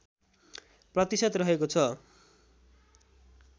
प्रतिशत रहेको छ